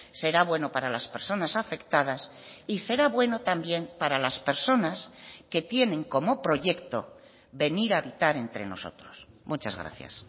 será bueno para las personas afectadas y será bueno también para las personas que tienen como proyecto venir a habitar entre nosotros muchas gracias